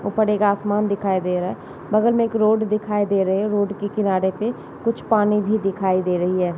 ऊपर एक आसमान दिखाई दे रहा है बगल में एक रोड दिखाई दे रहे है | रोड के किनारे पे कुछ पानी भी दिखाई दे रही है।